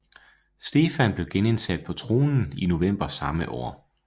Stefan blev genindsat på tronen i november samme år